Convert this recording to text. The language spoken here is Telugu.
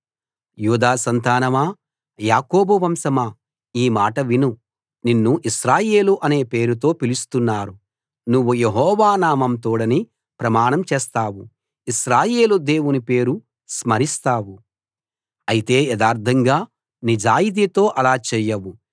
యూదా సంతానమా యాకోబు వంశమా ఈ మాట విను నిన్ను ఇశ్రాయేలు అనే పేరుతో పిలుస్తున్నారు నువ్వు యెహోవా నామం తోడని ప్రమాణం చేస్తావు ఇశ్రాయేలు దేవుని పేరు స్మరిస్తావు అయితే యథార్థంగా నిజాయితీతో అలా చేయవు